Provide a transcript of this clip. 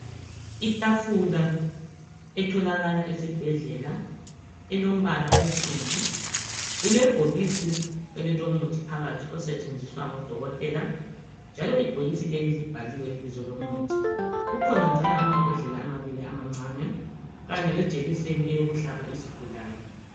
Itafula etholakala esibhedlela elombala onsundu, ilebhokisi elilomuthi phakathi elisetshinziswa ngoDokotela njslo ibhokisi leli libhaliwe ibizo lomuthi kanye lejekiseni yohlaba izigulane.